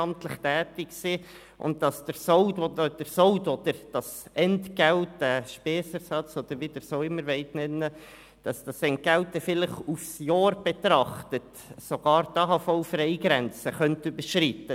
Das Entgelt könnte bei besonders fleissigen ehrenamtlichen Mitgliedern während eines Jahres sogar die AHV-Freigrenze überschreiten.